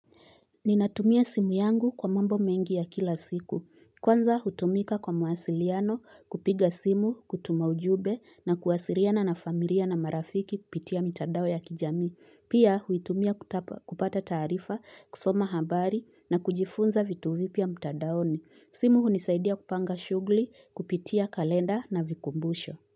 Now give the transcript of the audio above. Ninatumia simu yangu kwa mambo mengi ya kila siku. Kwanza hutumika kwa mawasiliano kupiga simu, kutuma ujube na kuwasiriana na familia na marafiki kupitia mitadao ya kijamii. Pia huitumia kupata taarifa, kusoma habari na kujifunza vitu vipya mtadaoni. Simu hunisaidia kupanga shughli, kupitia kalenda na vikumbusho.